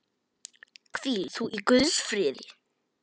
Hvíl þú í Guðs friði.